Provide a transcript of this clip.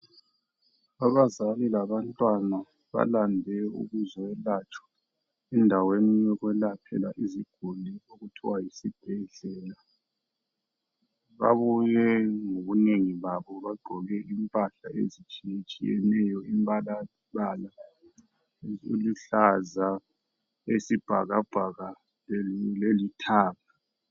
Abazali labantwana balande ukuzoyelatshwa endaweni yokwelaphela iziguli okuthwa yisibhedlela. Babuye ngobunengi babo bagqoke impahla ezitshiyetshiyeneyo imbalabala eluhlaza, eyisibhakabhaka lelithanga.